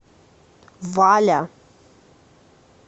валя